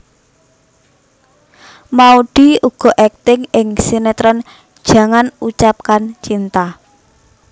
Maudy uga akting ing sinetron Jangan Ucapkan Cinta